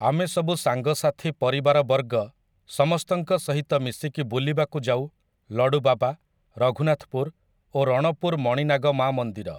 ଆମେ ସବୁ ସାଙ୍ଗସାଥି ପରିବାରବର୍ଗ ସମସ୍ତଙ୍କ ସହିତ ମିଶିକି ବୁଲିବାକୁ ଯାଉ ଲଡ଼ୁବାବା, ରଘୁନାଥପୁର ଓ ରଣପୁର ମଣିନାଗ ମା ମନ୍ଦିର ।